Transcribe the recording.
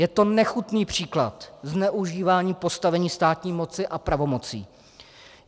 Je to nechutný příklad zneužívání postavení státní moci a pravomocí.